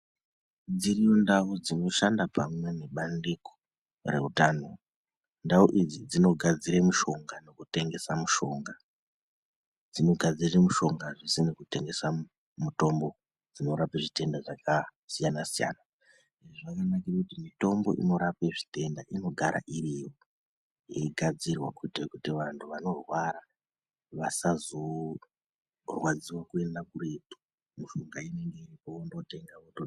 Dziriyo ndau dzinoshanda pamwe ne bandingo rehutano ndau idzi dzinogadzire mishonga neku tengesa mishonga dzinogadzira mishonga zvese nekutengesa mitombo dzinorape zvitenda zvaka siyana siyana zvakanakire kuti mitombo inorape zvitenda inogara iriyo yei gadzirwa kuite kuti vantu vano rwara vasazorwadziwe kuenda kuretu mishonga inenga iripo vondo tenga.